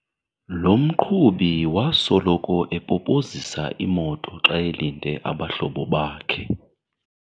Lo mqhubi wasoloko epopozisa imoto xa elinde abahlobo bakhe.